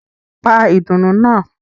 Pa ìdùnnú náà!